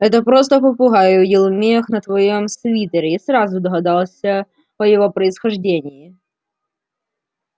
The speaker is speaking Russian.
это просто попугай увидел мех на твоём свитере и сразу догадался о его происхождении